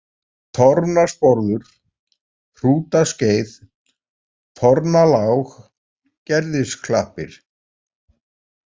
Torfnasporður, Hrútaskeið, Torfnalág, Gerðisklappir